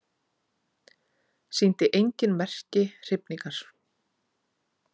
Sýndi engin merki hrifningar.